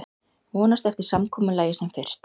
Vonast eftir samkomulagi sem fyrst